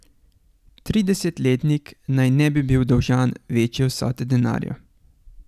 Tridesetletnik naj ne bi bil dolžan večje vsote denarja.